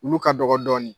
Olu ka dɔgɔ dɔɔnin